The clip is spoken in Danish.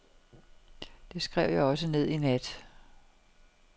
Det skrev jeg også ned i nat.